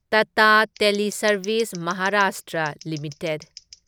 Tata teleservices Maharashtra limited